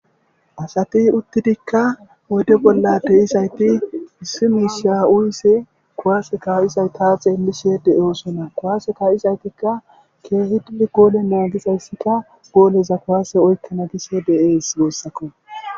Ha asati utidikka oyidde bola deizayiti issi mishsha uyishshe kuwase kaizayita xeelishe deosoona kuwase kaizayitikka keehidi gole nagizayisikka goleza kuwase oyikkana gishe desi gusikko